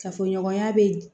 Kafoɲɔgɔnya bɛ